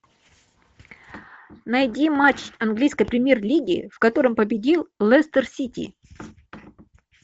найди матч английской премьер лиги в котором победил лестер сити